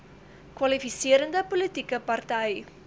kwalifiserende politieke party